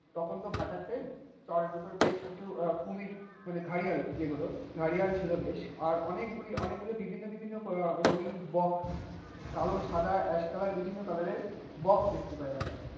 তখন তো ভাটার টাইম চরের উপরে বেশ কিছু কুমির মানে ঘারিয়াল যেগুলো, ভারিয়াল ছিল বেশ. আর অনেকগুলি, অনেকগুলি বিভিন্ন বিভিন্ন রঙিন বক, কালো, সাদা, এশ কালার বিভিন্ন কালারের বক দেখতে পাই আমরা.